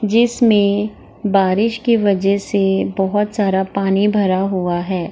जिसमें बारिश की वजह से बहोत सारा पानी भरा हुआ है।